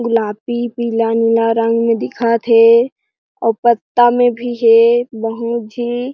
गुलाबी पिला नीला रंग में दिखत हे अउ पत्ता में भी हे बहुत झी--